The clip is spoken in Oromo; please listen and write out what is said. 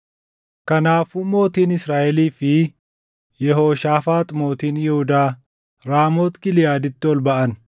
Kanaafuu mootiin Israaʼelii fi Yehooshaafaax mootiin Yihuudaa Raamooti Giliʼaaditti ol baʼan.